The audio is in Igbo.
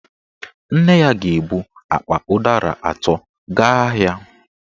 Nne ya ga-ebu akpa ụdara atọ gaa ahịa